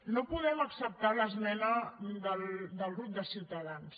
no podem acceptar l’esmena del grup de ciutadans